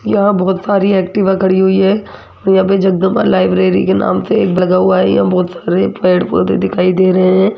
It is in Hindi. यहां बहोत सारी एक्टिवा खड़ी हुई है यहां पे जगदंबा लाइब्रेरी के नाम से लगा हुआ है यहां बहोत सारे पेड़ पौधे दिखाई दे रहे है।